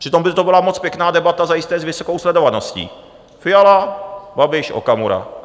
Přitom by to byla moc pěkná debata, zajisté s vysokou sledovaností: Fiala, Babiš, Okamura.